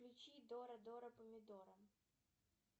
включи дора дора помидора